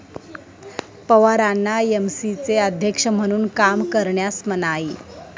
पवारांना एमसीएचे अध्यक्ष म्हणून काम करण्यास मनाई